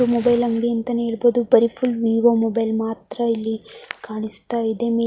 ಇದು ಮೊಬೈಲ್ ಅಂಗಡಿ ಅಂತನೆ ಹೇಳಬಹುದು ಬರಿ ಫುಲ್ ವಿವೊ ಮೊಬೈಲ್ ಮಾತ್ರ ಇಲ್ಲಿ ಕಾಣಿಸ್ತಾ ಇದೆ .